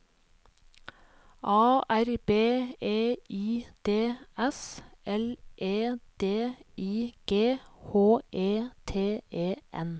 A R B E I D S L E D I G H E T E N